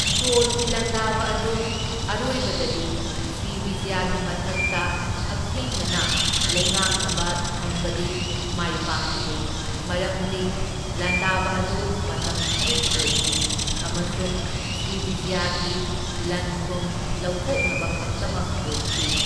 ꯆꯣꯜꯒꯤ ꯂꯥꯟꯗꯕ ꯑꯗꯨ ꯑꯔꯣꯏꯕꯗꯗꯤ ꯁ꯭ꯔꯤꯕꯤꯖꯌꯒꯤ ꯃꯊꯛꯇ ꯍꯛꯊꯦꯡꯅꯅ ꯂꯩꯉꯥꯛꯅꯕ ꯊꯝꯕꯗꯤ ꯃꯥꯏ ꯄꯥꯛꯈꯤꯗꯦ, ꯃꯔꯝꯗꯤ ꯂꯥꯟꯗꯕ ꯑꯗꯨ ꯃꯇꯝ ꯈꯔꯒꯤ ꯑꯣꯏꯈꯤ ꯑꯃꯁꯨꯡ ꯁ꯭ꯔꯤꯕꯤꯖꯌꯒꯤ ꯂꯟ ꯊꯨꯝ ꯂꯧꯊꯣꯛꯅꯕ ꯈꯛꯇꯃꯛ ꯑꯣꯏꯈꯤ꯫